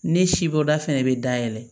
Ne sibɔda fana bɛ dayɛlɛ